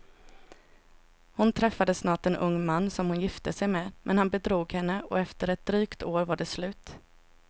Hon träffade snart en ung man som hon gifte sig med, men han bedrog henne och efter ett drygt år var det slut.